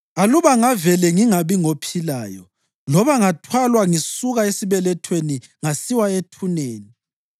Aluba ngavele ngingabi ngophilayo, loba ngathwalwa ngisuka esibelethweni ngasiwa ethuneni!